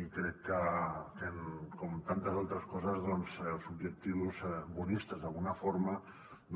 i crec que com en tantes altres coses doncs els objectius bonistes d’alguna forma